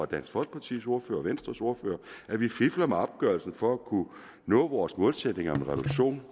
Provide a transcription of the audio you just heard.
dansk folkepartis ordfører og venstres ordfører at vi fifler med opgørelsen for at kunne nå vores målsætninger om reduktion